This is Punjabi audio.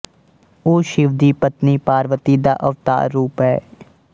ਉਹ ਸ਼ਿਵ ਦੀ ਪਤਨੀ ਪਾਰਵਤੀ ਦਾ ਅਵਤਾਰ ਰੂਪ ਹੈ